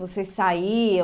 Vocês saíam?